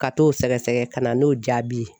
Ka t'o sɛgɛsɛgɛ ka na n'o jaabi ye.